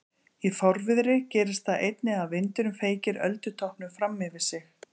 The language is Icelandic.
Í fárviðri gerist það einnig að vindurinn feykir öldutoppnum fram yfir sig.